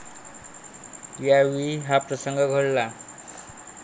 यावेळी हा प्रसंग घडला.